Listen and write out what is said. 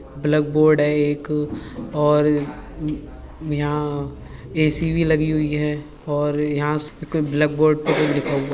black board है एक और यहाँ एसी भी लगी हुई है और यहाँ ब्लैक बोर्ड पे कुछ लिखा हुआ --